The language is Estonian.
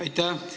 Aitäh!